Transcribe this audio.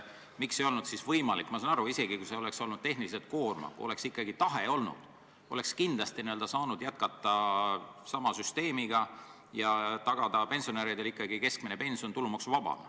Ma saan aru, et isegi kui see oleks olnud tehniliselt koormav, aga kui oleks ikkagi tahe olnud, siis oleks kindlasti saanud jätkata sama süsteemiga ja tagada pensionäridele keskmine pension tulumaksuvabana.